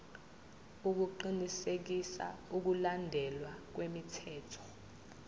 ukuqinisekisa ukulandelwa kwemithetho